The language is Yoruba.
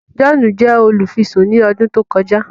John jẹ olufisun ní ọdún tí o kọjá